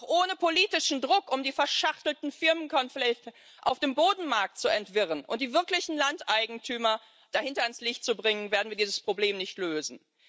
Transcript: Aber auch ohne politischen Druck, um die verschachtelten Firmengeflechte auf dem Bodenmarkt zu entwirren und die wirklich dahintersteckenden Landeigentümer ans Licht zu bringen, werden wir dieses Problem nicht lösen.